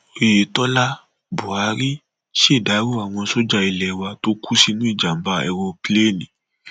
oyetola buratai ṣèdàrọ àwọn sójà ilé wa tó kú sínú ìjàmbá èròńpilẹẹni